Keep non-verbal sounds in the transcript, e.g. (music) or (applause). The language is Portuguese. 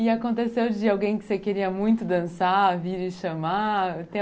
E aconteceu de alguém que você queria muito dançar, vir e chamar? (unintelligible)